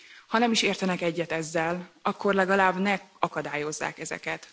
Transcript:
Ha nem is értenek egyet ezzel, akkor legalább ne akadályozzák ezeket.